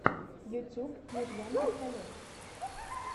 ютуб мижган пистолет